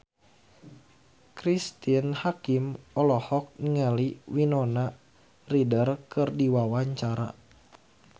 Cristine Hakim olohok ningali Winona Ryder keur diwawancara